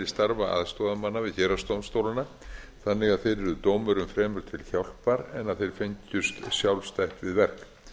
starfa aðstoðarmanna við héraðsdómstólana þannig að þeir yrðu dómurum fremur til hjálpar en að þeir fengjust sjálfstætt við verk